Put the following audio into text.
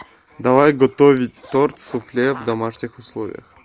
давай готовить торт суфле в домашних условиях